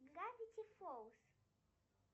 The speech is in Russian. гравити фолз